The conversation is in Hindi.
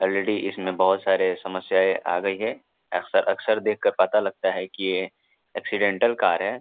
ऑलरेडी इसमें बहुत सारे समस्याएँ आ गई हैं अक्सर अक्सर देख के पता लगता है कि ये एक्सीडेंटल कार है।